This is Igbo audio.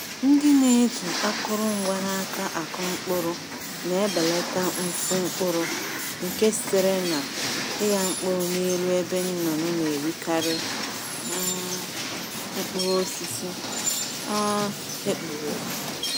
Ndị na-eji akụrụngwa n’aka akụ mkpụrụ na-ebelata mfu mkpụrụ nke sitere na ịgha mkpụrụ n'elu ebe nnụnụ na-erikarị um mkpụrụ osisi um ekpughere.